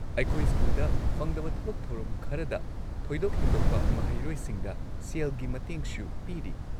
ꯑꯩꯈꯣꯏ ꯁ꯭ꯀꯨꯜꯗ ꯐꯪꯗꯕ ꯊꯕꯛ ꯊꯧꯔꯝ ꯈꯔꯗ ꯊꯣꯏꯗꯣꯛ-ꯍꯦꯟꯗꯣꯛꯄ ꯃꯍꯩꯔꯣꯏꯁꯤꯡꯗ ꯁꯦꯜꯒꯤ ꯃꯇꯦꯡꯁꯨ ꯄꯤꯔꯤ꯫